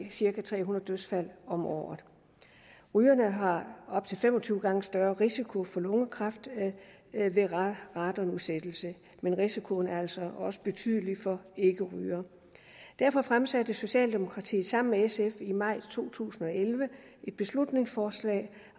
cirka tre hundrede dødsfald om året rygerne har op til fem og tyve gange større risiko for lungekræft ved radonudsættelse men risikoen er altså også betydelig for ikkerygere derfor fremsatte socialdemokratiet sammen med sf i maj to tusind og elleve et beslutningsforslag